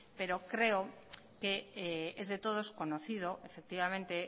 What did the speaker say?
pero creo que es de todos conocido efectivamente